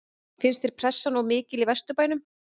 Finnst þér pressan of mikil í Vesturbænum?